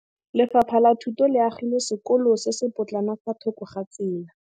Lefapha la Thuto le agile sekôlô se se pôtlana fa thoko ga tsela.